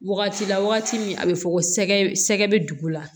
Wagati la wagati min a bɛ fɔ ko sɛgɛ bɛ dugu la